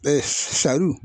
saru